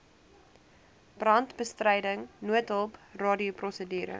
brandbestryding noodhulp radioprosedure